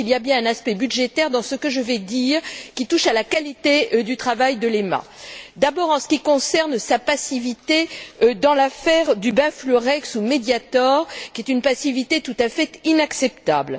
Il y a donc bien un aspect budgétaire dans ce que je vais dire, qui touche à la qualité du travail de l'EMA, d'abord en ce qui concerne sa passivité dans l'affaire du benfluorex ou Mediator qui est une passivité tout à fait inacceptable.